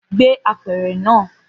Gbé apẹ̀rẹ̀ náà!